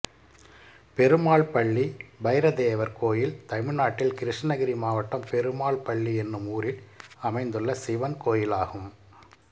பெருமாள் பள்ளி பைரதேவர் கோயில் தமிழ்நாட்டில் கிருஷ்ணகிரி மாவட்டம் பெருமாள் பள்ளி என்னும் ஊரில் அமைந்துள்ள சிவன் கோயிலாகும்